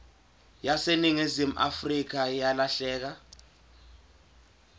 yaseningizimu afrika yalahleka